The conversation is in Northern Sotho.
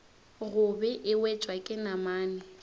gobe e wetšwa ke namane